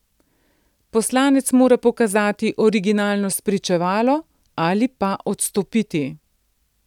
Poslanec mora pokazati originalno spričevalo ali pa odstopiti.